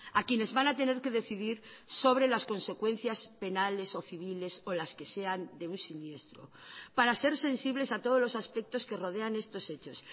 a quienes van a tener que decidir sobre las consecuencias penales o civiles o las que sean de un siniestro para ser sensibles a todos los aspectos que rodean estos hechos